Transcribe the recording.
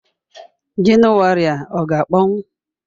January a ọ ga-akpọnwụ?